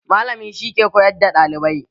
Malami shi ke koyar da ɗalibai.